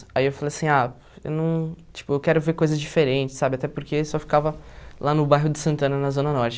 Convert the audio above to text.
Aí eu falei assim, ah, eu não, tipo, eu quero ver coisas diferentes, sabe, até porque eu só ficava lá no bairro de Santana, na Zona Norte.